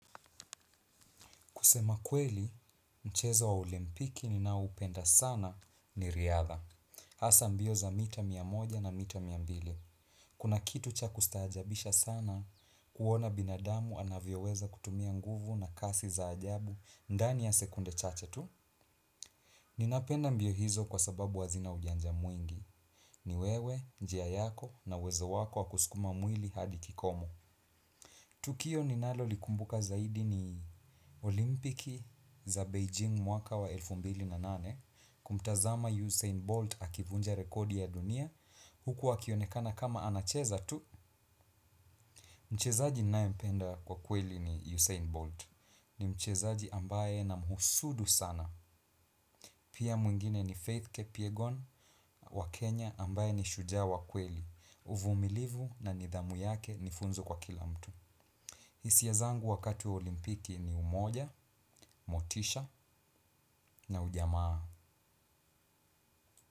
Kusema kweli, mchezo wa olimpiki ninaoupenda sana ni riadha. Hasa mbio za mita mia moja na mita mia mbili. Kuna kitu cha kustaajabisha sana kuona binadamu anavyoweza kutumia nguvu na kasi za ajabu ndani ya sekunde chache tu. Ninapenda mbio hizo kwa sababu huwa zina ujanja mwingi. Ni wewe, njia yako na uwezo wako wa kuskuma mwili hadi kikomo. Tukio ninalolikumbuka zaidi ni olimpiki za Beijing mwaka wa elfu mbili na nane, kumtazama Usain Bolt akivunja rekodi ya dunia, huku akionekana kama anacheza tu. Mchezaji nayempenda kwa kweli ni Usain Bolt, ni mchezaji ambaye namhusudu sana. Pia mwingine ni Faith Kepiegon wa Kenya ambaye ni shujaa wa kweli, uvumilivu na nidhamu yake ni funzo kwa kila mtu. Hisia zangu wakati wa olimpiki ni umoja, motisha na ujamaa.